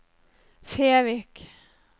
Fevik